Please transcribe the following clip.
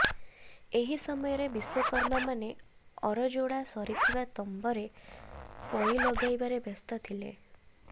ଏହି ସମୟରେ ବିଶ୍ୱକର୍ମାମାନେ ଅର ଯୋଡ଼ା ସରିଥିବା ତମ୍ବରେ ପଇ ଲଗାଇବାରେ ବ୍ୟସ୍ତ ଥିଲେ